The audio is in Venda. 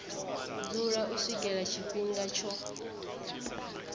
dzula u swikela tshifhinga tsho